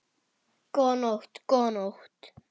Góða nótt, góða nótt.